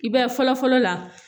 I b'a ye fɔlɔ fɔlɔ la